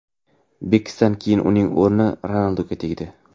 Beksdan keyin uning o‘rni Ronalduga tegdi.